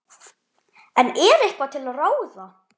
En er eitthvað til ráða?